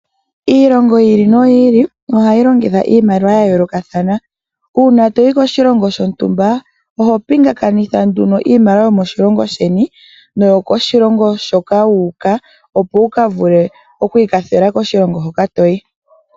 Iilongo yi ili noyi ili ohayi longitude iimaliwa ya yoolokathanaa. Uuna toyi koshilongo shontumba oho pingakanitha nduno iimaliwa yomoshilongo sheni noyokoshilongo shoka wu uka, opo wu ka vule oku ikwathela koshilongo hoka to yi.